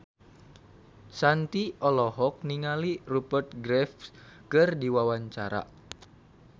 Shanti olohok ningali Rupert Graves keur diwawancara